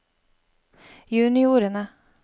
juniorene